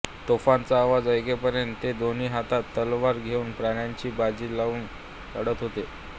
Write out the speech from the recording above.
तोफांचा आवाज ऐकेपर्यंत ते दोन्ही हातात तलवार घेऊन प्राणांची बाजी लावून लढत होते